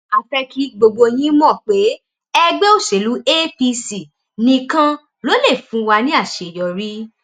a fẹ kí gbogbo yín mọ pé ẹgbẹ òṣèlú apc nìkan ló lè fún wa ní àṣeyọrí